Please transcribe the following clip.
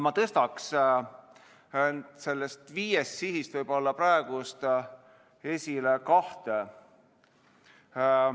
Ma tõstaks nendest viiest sihist praegu esile võib-olla kahte.